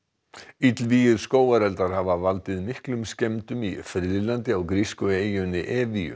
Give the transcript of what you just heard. illvígir skógareldar hafa valdið miklum skemmdum í friðlandi á grísku eyjunni